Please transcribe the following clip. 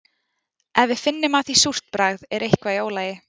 Ef við finnum af því súrt bragð er eitthvað í ólagi.